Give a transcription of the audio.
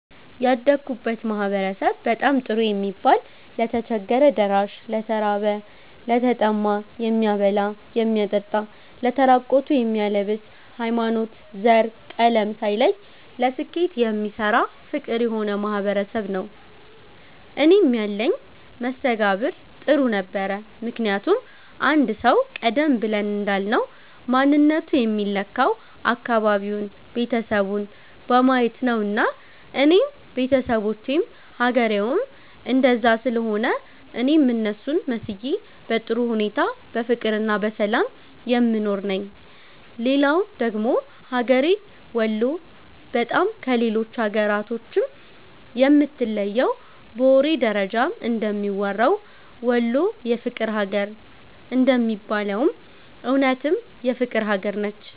ያደግሁበት ማህበረሰብ በጣም ጥሩ የሚባል ለተቸገረ ደራሽ፣ ለተራበ፣ ለተጠማ የሚያበላ የሚያጠጣ ለተራቆቱ የሚያለብስ፣ ሀይማኖት፣ ዘር፣ ቀለም ሳይለይ ለስኬት የሚሰራ ፍቅር የሆነ ማህበረሰብ ነዉ። እኔም ያለኝ መስተጋብር ጥሩ ነበረ ምክንያቱም አንድ ሰዉ ቀደም ብለን እንዳልነዉ ማንነቱ የሚለካዉ አካባቢዉን፣ ቤተሰቡን በማየት ነዉና እኔም ቤተሰቦቼም ሀገሬዉም እንደዛ ስለሆነ እኔም እነሱን መስዬ በጥሩ ሁኔታ በፍቅርና በሰላም የምኖር ነኝ። ሌላዉ ደግሞ ሀገሬ ወሎ በጣም ከሌሎች ሀገራቶችም የምትለየዉ በወሬ ደረጃም እንደሚወራዉ "ወሎ የፍቅር ሀገር" እንደሚባለዉም እዉነትም የፍቅር ሀገር ነች